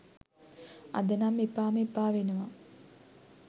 අද නම් එපාම එපා වෙනවා